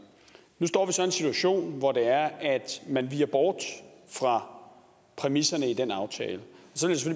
nu står vi så i en situation hvor man viger bort fra præmisserne i den aftale